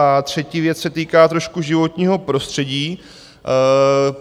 A třetí věc se týká trošku životního prostředí.